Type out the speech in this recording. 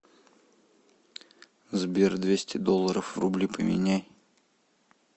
сбер двести долларов в рубли поменяй